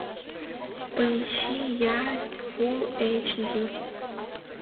поищи ярость фулл эйч ди